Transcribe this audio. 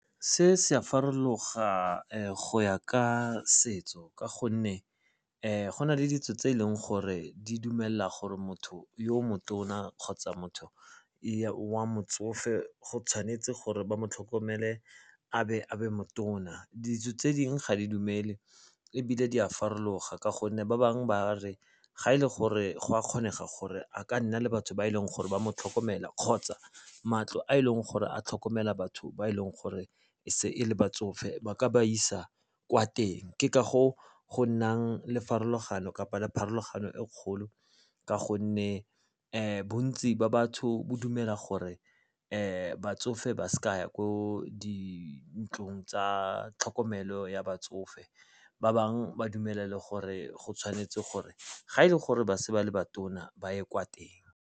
Se se a farologa go ya ka setso ka gonne go na le ditso tse e leng gore di dumela gore motho yo motona kgotsa motho wa motsofe go tshwanetse gore ba mo tlhokomele, a be motona. Ditso tse dingwe ga di dumele ebile di a farologa ka gonne ba bangwe ba re ga e le gore go a kgonega gore a ka nna le batho ba e leng gore ba mo tlhokomela kgotsa matlo a e leng gore a tlhokomela batho ba e leng gore e se e le batsofe ba ka ba isa kwa teng. Ke ka go go nnang le farologano kapa le pharologano e kgolo ka gonne bontsi ba batho bo dumela gore batsofe ba se ka ya ko dintlong tsa tlhokomelo ya batsofe. Ba bangwe ba dumela le gore go tshwanetse gore ga e le gore ba se ba le ba tona ba ye kwa teng.